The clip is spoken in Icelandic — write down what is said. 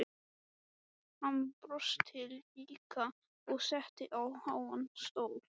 Hann brosti líka og settist á háan stól.